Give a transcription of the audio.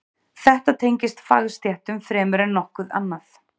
Þetta tengist fagstéttum fremur en nokkuð annað.